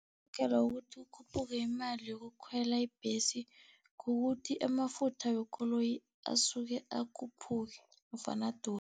kuthi kukhuphule imali yokukhwela ibhesi, kukuthi amafutha wekoloyi asuke akhuphuke nofana